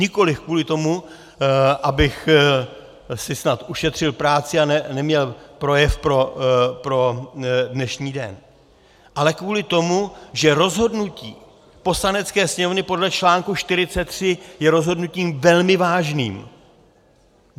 Nikoliv kvůli tomu, abych si snad ušetřil práci a neměl projev pro dnešní den, ale kvůli tomu, že rozhodnutí Poslanecké sněmovny podle článku 43 je rozhodnutím velmi vážným.